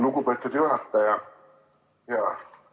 Lugupeetud juhataja!